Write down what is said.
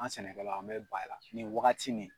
An sɛnɛ kɛlaw an be ban e la ni wagati ni